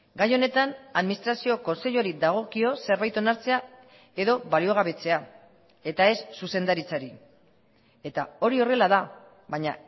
gai honetan administrazio kontseiluari dagokio zerbait onartzea edo baliogabetzea eta ez zuzendaritzari eta hori horrela da baina